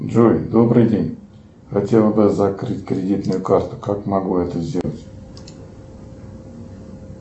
джой добрый день хотела бы закрыть кредитную карту как могу я это сделать